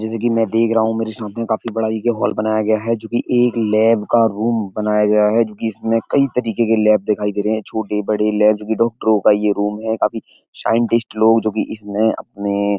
जैसा कि मैं देख रहा हूँ मेरे सामने काफी बड़ा देखिये हॉल बनाया गया है। जो कि एक लैब का रूम बनाया गया है। जो कि इसमें कई तरीके के लैब दिखाई दे रहे हैं। छोटे बड़े लैब जो की डॉक्टरों का ये रूम है। काफी साइंटिस्ट लोग जो की इसमें अपने --